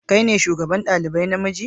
Kai ne shugaban dalibai na miji?